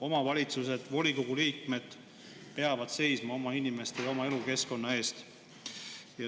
Omavalitsused, volikogu liikmed peavad seisma oma inimeste ja oma elukeskkonna eest.